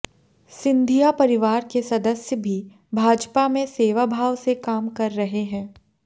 सिंधिया परिवार के सदस्य भी भाजपा में सेवाभाव से काम कर रहे हैं